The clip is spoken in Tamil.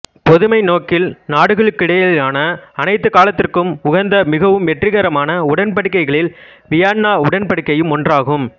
பொதுமை நோக்கில் நாடுகளுக்கிடையிலான அனைத்து காலத்திற்கும் உகந்த மிகவும் வெற்றிகரமான உடன்படிக்கைகளில் வியன்னா உடன்படிக்கையும் ஒன்றாகும்